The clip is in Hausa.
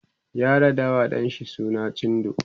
ya raɗawa ɗan shi suna cindo